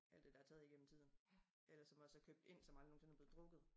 Alt det der taget igennem tiden eller som også er købt ind som aldrig nogensinde er blevet drukket